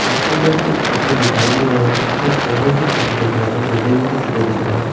کانچ کے اندر کچھ چتر دکھائی دے رہے ہیں اسود پیڑوں کی چتر دکھ رہے ہیں بلڈنگوں کی چتر دکھ رہے ہیں-